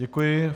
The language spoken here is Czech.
Děkuji.